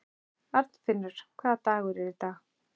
Arnfinnur, hvaða dagur er í dag?